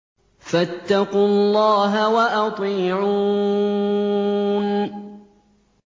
فَاتَّقُوا اللَّهَ وَأَطِيعُونِ